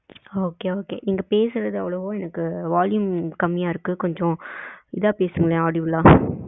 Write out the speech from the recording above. okay, okay நீங்க பேசுறது அவ்ளோவா எனக்கு volume கம்மியா இருக்கு கொஞ்சம் இதா பேசுங்ளேன் audible ஆ